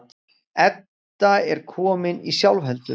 Edda er komin í sjálfheldu.